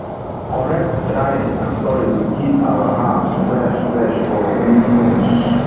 correct drying and storage dey keep our herbs fresh fresh for many months